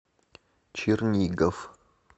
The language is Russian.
чернигов